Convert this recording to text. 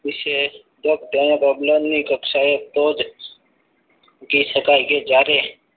વિશેષ હોય તો તેની પ્રબલન ની કક્ષાએ જ મૂકી શકાય કે જ્યારે